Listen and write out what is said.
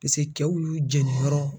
Paseke cɛw y'u jɛni yɔrɔ